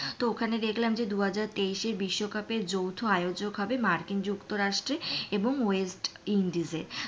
তো ওখানে দেখলাম যে দুহাজার তেইশে বিশ্বকাপে যৌথ আয়োজক হবে মার্কিন যুক্তরাষ্ট্র এবং ওয়েস্ট ইন্ডিজ এ,